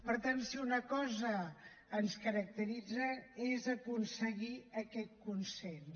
per tant si una cosa ens caracteritza és aconseguir aquest consens